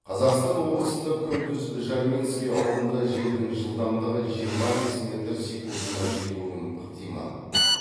қазақстан облысында күндіз жарминский ауылында желдің жылдамдығы жиырма бес метр секундына жетуі ықтимал